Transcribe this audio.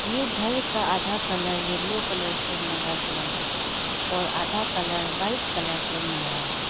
ये घर का आधा कलर येलो कलर से मारा गया है और आधा कलर व्हाइट कलर से मारा है।